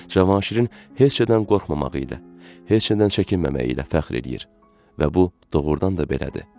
Cavanşirin heç nədən qorxmamağı ilə, heç nədən çəkinməməyi ilə fəxr eləyir. Və bu doğrudan da belədir.